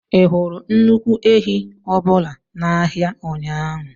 Ị hụrụ nnukwu ehi ọbụla n'ahịa ụnyaahụ?